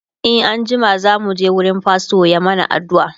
e an jima zamu je wurin fastor ya mana aduua